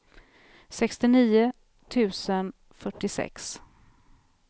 sextionio tusen fyrtiosex